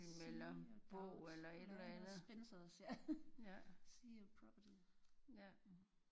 See your doubts ja noget suspense ja see your problems